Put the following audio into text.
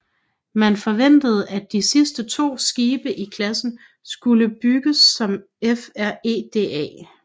Man forventede at de sidste to skibe i klassen skulle bygges som FREDA